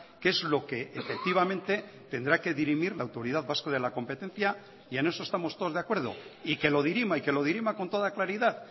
que es lo que efectivamente tendrá que dirimir la autoridad vasca de la competencia y en eso estamos todos de acuerdo y que lo dirima y que lo dirima con toda claridad